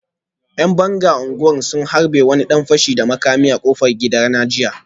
‘Yan banga a unguwar sun harbe wani dan fashi da makami a kofar gidana jiya